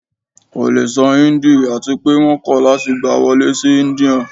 ko le sọ Hindi ati pe wọn kọ lati gba wọle si India